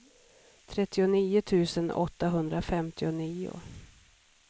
trettionio tusen åttahundrafemtionio